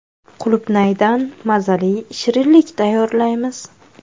Qulupnaydan mazali shirinlik tayyorlaymiz.